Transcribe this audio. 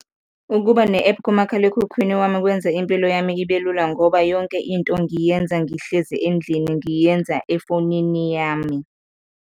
Ukuba ne-app kumakhalekhukhwini wami kwenza impilo yami ibe lula ngoba yonke into ngiyenza ngihlezi endlini, ngiyenza efonini yami.